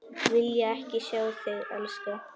Vilja ekki sjá þig elska.